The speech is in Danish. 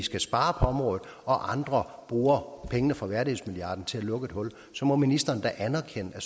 skal spare på området og andre bruger pengene fra værdighedsmilliarden til at lukke et hul må ministeren da erkende at